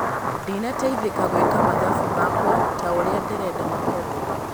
Ndinateithĩka gwĩka mathabu makwa taũrĩa nderenda makorwo